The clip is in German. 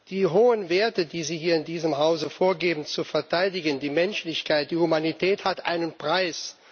Die hohen Werte, die Sie hier in diesem Hause vorgeben zu verteidigen die Menschlichkeit, die Humanität haben einen Preis.